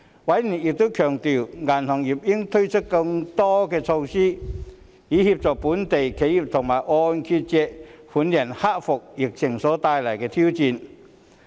委員亦強調銀行業應推出更多措施，以協助本地企業及按揭借款人克服疫情帶來的挑戰。